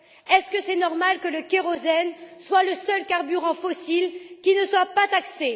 Est ce normal que le kérosène soit le seul carburant fossile qui ne soit pas taxé?